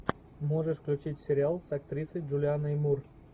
можешь включить сериал с актрисой джулианой мур